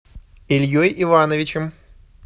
ильей ивановичем